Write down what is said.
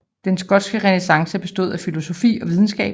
Den skotske renæssance bestod af filosofi og videnskab